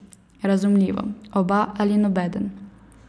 Razumljivo, oba ali nobeden.